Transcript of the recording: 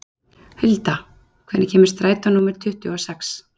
Hulda, hvenær kemur strætó númer tuttugu og sex?